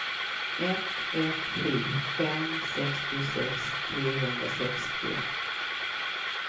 ett ett sju fem sextiosex trehundrasextio